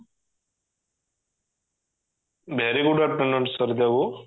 very good afternoon Sarit babu